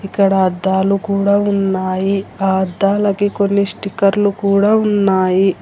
ఇక్కడ అద్దాలు కూడా ఉన్నాయి ఆ అద్దాలకి కొన్ని స్టిక్కర్లు కూడా ఉన్నాయి.